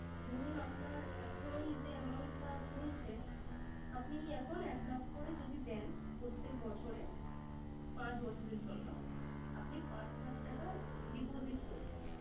ধরুন আপনার এখন যে amount টা চলছে। আপনি এখন একলাখ করে যদি দেন প্রত্যেক বছরে, পাঁচ বছরের জন্য। আপনি পাঁচ লাখ টাকা deposit করলেন